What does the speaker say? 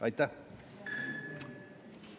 Aitäh!